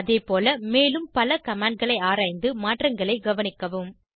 அதேபோல மேலும் பல commandகளை ஆராய்ந்து மாற்றங்களை கவனிக்கவும்